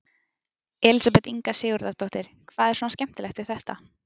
Elísabet Inga Sigurðardóttir: Hvað er svona skemmtilegt við þetta?